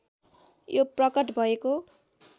यो प्रकट भएको